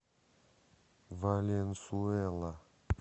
валенсуэла